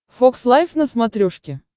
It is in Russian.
фокс лайф на смотрешке